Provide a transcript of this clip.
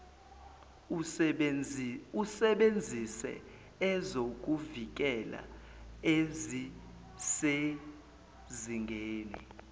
usebenzise ezokuvikela ezisezingeni